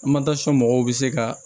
mɔgɔw bɛ se ka